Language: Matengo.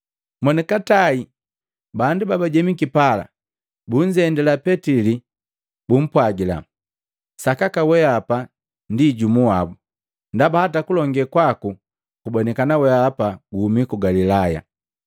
Monikatae bandu babajemiki pala bunzendila Petili bumpwagila, “Sakaka weapa ndi jumu wabu, ndaba hata kulonge kwaku kubonikana wehapa guhumi ku Galilaya.”